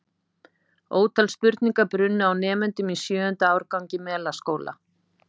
Ótal spurningar brunnu á nemendum í sjöunda árgangi Melaskóla.